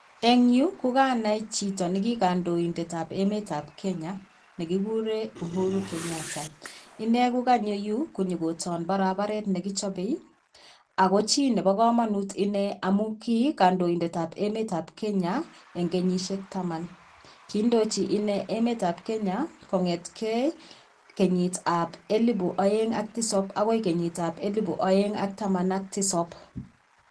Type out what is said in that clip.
En yuu kokanai chito ne kikondoindet ab emet ab kenya nekikuren Uhuru Kenyata inei kokonyo yuu iyo koton barararet nekichope ako chii nebo komonut inei amun kikondoindet tab emet ab kenya en kenyishek taman kiindoji ine emet ab kenya kongetgee kenyit ab elibu oeng ak tisap akoi kenyit ab elibu oeng ak taman ak tisap.